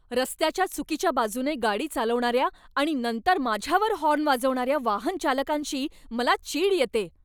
रस्त्याच्या चुकीच्या बाजूने गाडी चालवणाऱ्या आणि नंतर माझ्यावर हॉर्न वाजवणाऱ्या वाहनचालकांची मला चीड येते.